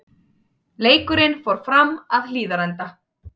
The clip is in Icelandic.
Leikurinn fór fram að Hlíðarenda.